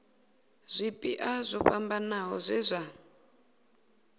zwipia zwo fhambanaho zwe zwa